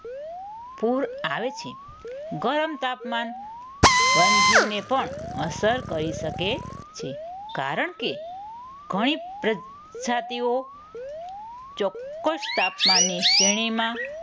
પૂર આવે છે. ગરમ તાપમાન વન્યજીવને પણ અસર કરી શકે છે. કારણ કે ઘણી પ્રજાતિઓ ચોક્કસ તાપમાનને શ્રેણીમાં